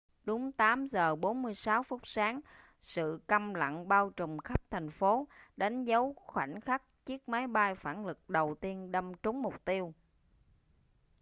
đúng 8 giờ 46 phút sáng sự câm lặng bao trùm khắp thành phố đánh dấu khoảnh khắc chiếc máy bay phản lực đầu tiên đâm trúng mục tiêu